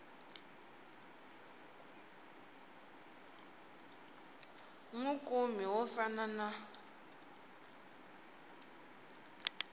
wi kumi wo fana na